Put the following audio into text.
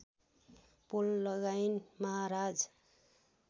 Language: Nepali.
पोल लगाइन् महाराज